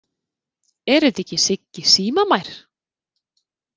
Er þetta ekki Siggi símamær!